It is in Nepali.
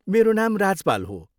मेरो नाम राजपाल हो।